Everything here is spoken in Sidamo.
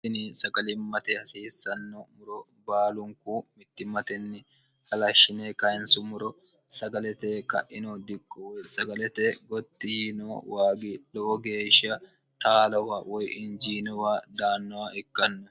ini sagalimmate hasiissanno muro baalunku mittimmtenni halashshine kayinsummuro sagalete ka'ino dikko o sagalete gottiino waagi lowo geeshsha taalowa woy injiinowa daannowa ikkanna